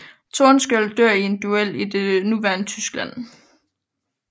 Tordenskiold dør i en duel i det nuværende Tyskland